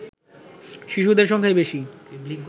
শিশুদের সংখ্যাই বেশি